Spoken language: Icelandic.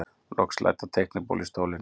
Loks læddi hann teiknibólu á stólinn.